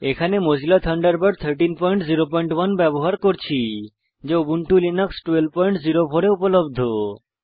এখানে Mozilla Thunderbird 1301 ব্যবহার করছি যা উবুন্টু 1204 এ উপলব্ধ